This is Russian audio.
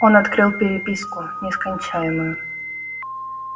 он открыл переписку нескончаемую